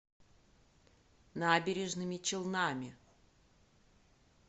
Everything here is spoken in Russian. набережными челнами